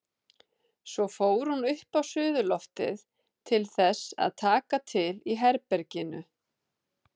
Svo fór hún upp á suðurloftið til þess að taka til í herberginu.